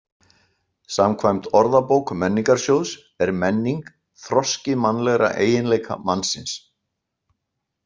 "Samkvæmt Orðabók Menningarsjóðs er menning ""þroski mannlegra eiginleika mannsins."